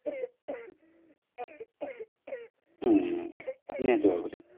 ହୁଁ ନିହାତି ଭାବରେ